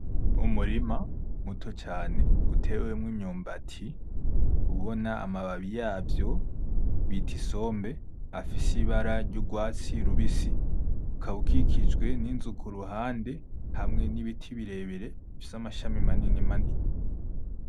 Umurima muto cane utewemwo imyumbati, ubona amababi yavyo bita Isombe afise ibara ry’urwatsi rubisi ukaba ukikijwe n’inzu ku ruhande, hamwe n’ibiti birebire bifise amashami manini manini.